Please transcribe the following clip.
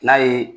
N'a ye